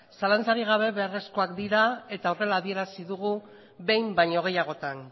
zalantzarik gabe beharrezkoak dira eta horrela adierazi dugu behin baino gehiagotan